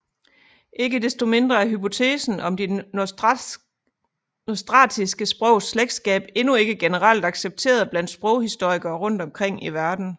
Ikke desto mindre er hypotesen om de nostratiske sprogs slægtskab endnu ikke generelt accepteret blandt sproghistorikere rundt omkring i verden